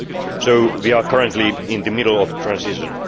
So we are currently in the middle of transition.